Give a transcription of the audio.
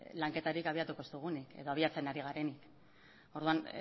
lanketarik abiatuko ez dugunik edo abiatzen ari garenik orduan